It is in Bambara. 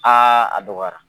a dɔgɔyara.